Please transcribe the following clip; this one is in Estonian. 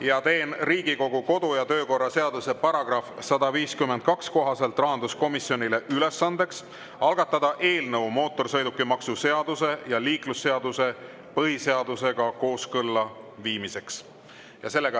Ma teen Riigikogu kodu- ja töökorra seaduse § 152 kohaselt rahanduskomisjonile ülesandeks algatada eelnõu mootorsõidukimaksu seaduse ja liiklusseaduse põhiseadusega kooskõlla viimiseks.